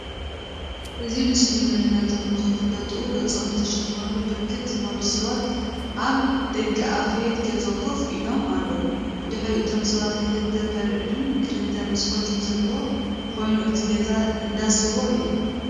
አብዚ ምስሊ ማንነቶም ንከይፍለጡ ገፆም ዝተሸፈኑ ብርክት ዝበሉ ሰባት አብ ደገአፍየት ገዛ ኮፍ ኢሎም አለዉ፡፡ ብድሕሪ እቶም ሰባት ክልተ በርን ክልተ መስኮትን ዘሎ ኮይኑ እቲ ገዛ እንዳ ስዋ እዩ፡፡